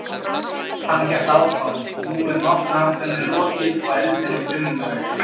Hann hélt áfram: Nú er náttúruhamförunum lokið og eldurinn kulnaður.